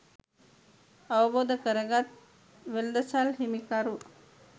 අවබෝධ කරගත් වෙළෙඳසල් හිමිකරු